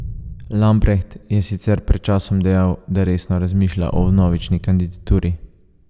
Lampreht je sicer pred časom dejal, da resno razmišlja o vnovični kandidaturi.